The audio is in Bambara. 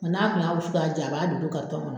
n'a kun y'a wusu k'a ja a b'a dogo kɔnɔ.